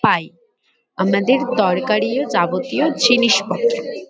পাই। আমাদের দরকারি ও যাবতীয় জিনিসপত্র।